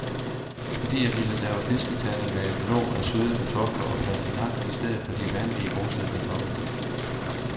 Fordi jeg ville lave fisketærte med et låg af søde kartofler og pastinak i stedet for de vanlige, mosede kartofler.